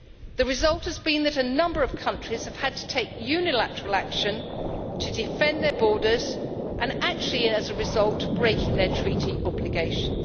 The result has been that a number of countries have had to take unilateral action to defend their borders and actually, as a result, break their Treaty obligations.